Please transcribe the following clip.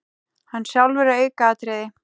Hann sjálfur er aukaatriði.